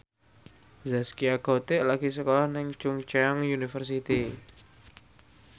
Zaskia Gotik lagi sekolah nang Chungceong University